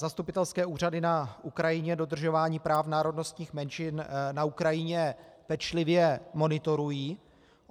Zastupitelské úřady na Ukrajině dodržování práv národnostních menšin na Ukrajině pečlivě monitorují.